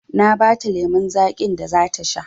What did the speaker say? Na ba ta lemon zaƙin da za ta sha